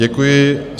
Děkuji.